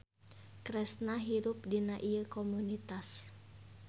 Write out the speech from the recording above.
Kresna hirup dina ieu komunitas.